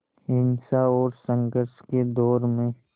हिंसा और संघर्ष के दौर में